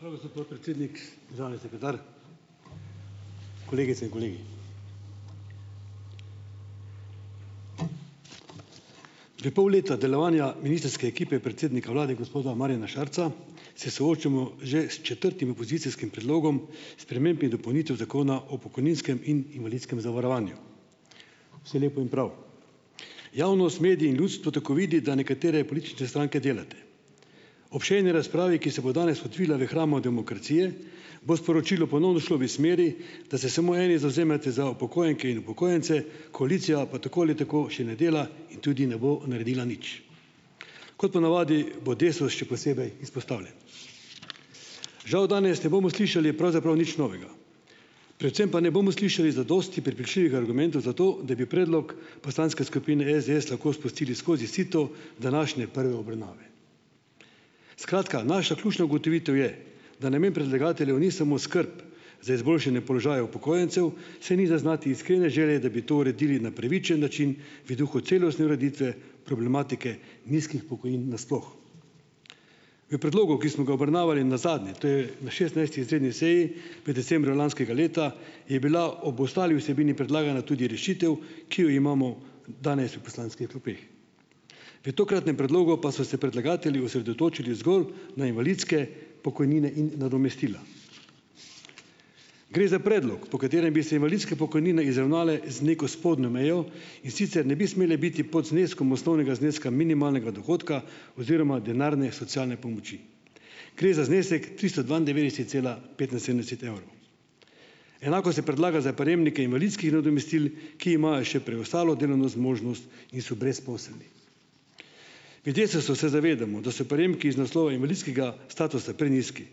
Hvala, gospod podpredsednik. Državni sekretar, kolegice in kolegi! V pol leta delovanja ministrske ekipe predsednika vlada gospoda Marjana Šarca se soočamo že s četrtim opozicijskim predlogom sprememb in dopolnitev zakona o pokojninskem in invalidskem zavarovanju. Vse lepo in prav. Javnost, mediji in ljudstvo tako vidi, da nekatere politične stranke delate. Ob še eni razpravi, ki se bo danes odvila v hramu demokracije bo sporočilo ponovno šlo v smeri, da se samo eni zavzemate za upokojenke in upokojence, koalicija pa tako ali tako še ne dela in tudi ne bo naredila nič. Kot ponavadi bo Desus še posebej izpostavljen. Žal danes ne bomo slišali pravzaprav nič novega, predvsem pa ne bomo slišali zadosti prepričljivih argumentov za to, da bi predlog poslanske skupine SDS lahko spustili skozi sito današnje prve obravnave. Skratka, naša ključna ugotovitev je, da namen predlagateljev ni samo skrb za izboljšanje položaja upokojencev, saj ni zaznati iskrene želje, da bi to uredili na pravičen način, v duhu celostne ureditve problematike nizkih pokojnin nasploh. V predlogu, ki samo ga obravnavali nazadnje, to je na šestnajsti izredni seji v decembru lanskega leta, je bila ob ostali vsebini predlagana tudi rešitev, ki jo imamo danes v poslanskih klopeh. V tokratnem predlogu pa so se predlagatelji osredotočili zgolj na invalidske pokojnine in nadomestila. Gre za predlog, po katerem bi se invalidske pokojnine izravnale z neko spodnjo mejo, in sicer ne bi smele biti pod zneskom osnovnega zneska minimalnega dohodka oziroma denarne socialne pomoči. Gre za znesek tristo dvaindevetdeset cela petinsedemdeset evrov. Enako se predlaga za prejemnike invalidskih nadomestil, ki imajo še preostalo delovno zmožnost in so brezposelni. V Desusu se zavedamo, da so prejemki iz naslova invalidskega statusa prenizki,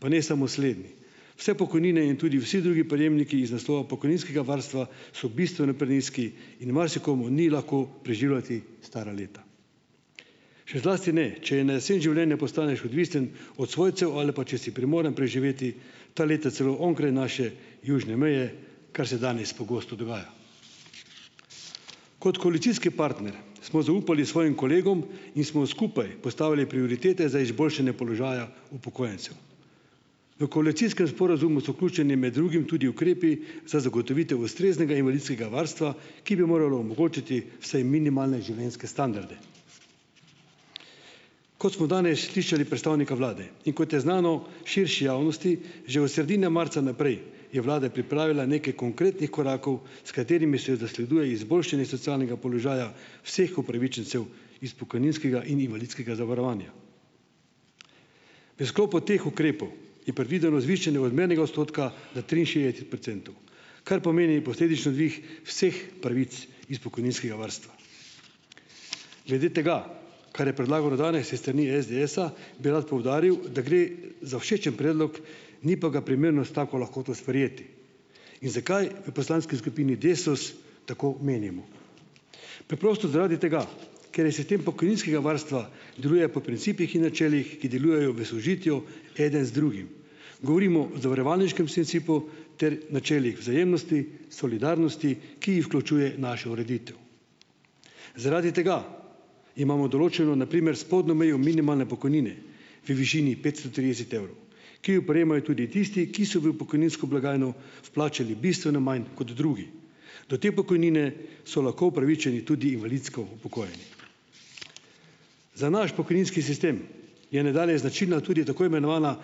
pa ne samo slednji. Vse pokojnine in tudi vsi drugi prejemniki iz naslova pokojninskega varstva so bistveno prenizki in marsikomu ni lahko preživljati stara leta. Še zlasti ne, če na jesen življenja postaneš odvisen od svojcev ali pa če si primoran preživeti ta leta celo onkraj naše južne meje, kar se danes pogosto dogaja. Kot koalicijski partner smo zaupali svojim kolegom in smo skupaj postavili prioritete za izboljšanje položaja upokojencev. V koalicijskem sporazumu so vključeni med drugim tudi ukrepi za zagotovitev ustreznega invalidskega varstva, ki bi moralo omogočiti vsaj minimalne življenjske standarde. Kot smo danes slišali predstavnika vlade in kot je znano širši javnosti, že od sredine marca naprej je vlada pripravila nekaj konkretnih korakov, s katerimi se zasleduje izboljšanje socialnega položaja vseh upravičencev iz pokojninskega in invalidskega zavarovanja. V sklopu teh ukrepov je predvideno zvišanje odmernega odstotka na triinšestdeset procentov, kar pomeni posledično dvig vseh pravic iz pokojninskega varstva. Glede tega, kar je predlagano danes iz strani SDS-a, bi rad poudaril, da gre za všečen predlog, ni pa ga primerno s tako lahkoto sprejeti. In zakaj v poslanski skupini Desus tako menimo. Preprosto zaradi tega, ker je sistem pokojninskega varstva deluje po principih in načelih, ki delujejo v sožitju eden z drugim. Govorimo o zavarovalniškem principu ter načelih vzajemnosti, solidarnosti, ki jih vključuje naša ureditev. Zaradi tega imamo določeno, na primer, spodnjo mejo minimalne pokojnine v višini petsto trideset evrov, ki jo prejemajo tudi tisti, ki so v pokojninsko blagajno vplačali bistveno manj kot drugi. Do te pokojnine so lahko upravičeni tudi invalidsko upokojeni. Za naš pokojninski sistem je nadalje značilna tudi tako imenovana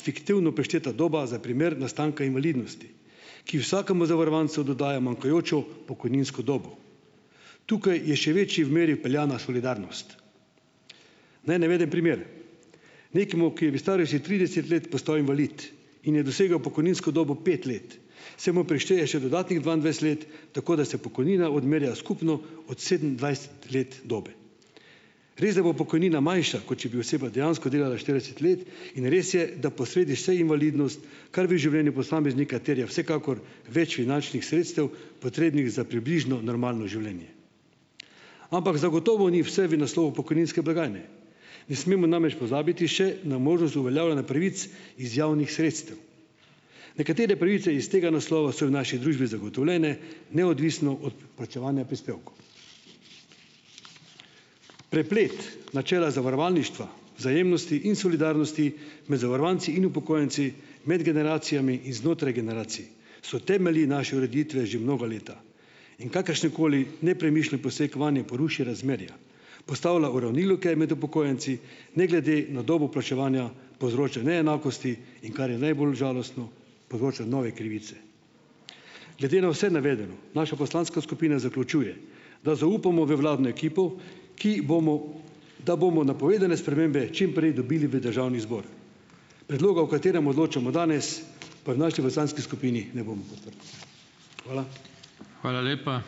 fiktivno prišteta doba za primer nastanka invalidnosti, ki vsakemu zavarovancu dodaja manjkajočo pokojninsko dobo. Tukaj je še večji v meri vpeljana solidarnost. Naj navedem primer. Nekomu, ki je v starosti trideset let postavi invalid in je dosegel pokojninsko dobo pet let, se mu prišteje še dodatnih dvaindvajset let, tako da se pokojnina odmerja skupno od sedemindvajset let dobe. Resda bo pokojnina manjša, kot če bi oseba dejansko delala štirideset let, in res je, da posredi se invalidnost, kar v življenju posameznika terja vsekakor več finančnih sredstev, potrebnih za približno normalno življenje. Ampak zagotovo ni vse v naslovu pokojninske blagajne. Ne smemo namreč pozabiti še na možnost uveljavljanja pravic iz javnih sredstev. Nekatere pravice iz tega naslova so v naši družbi zagotovljene neodvisno od plačevanja prispevkov. Preplet načela zavarovalništva, vzajemnosti in solidarnosti med zavarovanci in upokojenci, med generacijami in znotraj generacij so temelji naše ureditve že mnoga leta. In kakršenkoli nepremišljen poseg vanje poruši razmerja, postavlja uravnilovke med upokojenci, ne glede na dobo plačevanja povzroča neenakosti, in kar je najbolj žalostno, povzroča nove krivice. Glede na vse navedeno naša poslanska skupina zaključuje, da zaupamo v vladno ekipo, ki bomo, da bomo napovedane spremembe čim prej dobili v državni zbor. Predloga, o katerem odločamo danes, pa v naši poslanski skupini ne bomo podprli. Hvala.